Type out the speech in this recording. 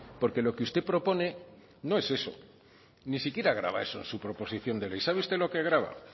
porque lo que usted propone no es eso ni siquiera grava eso su proposición de ley sabe usted lo que grava